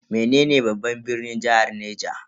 Menene babban birnin jihar Niger?